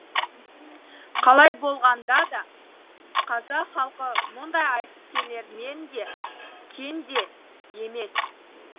қалай болғанда да қазақ халқы мұндай айтыскерлермен де кенде емес